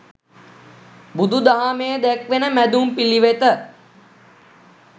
බුදු දහමේ දැක්වෙන මැදුම් පිළිවෙත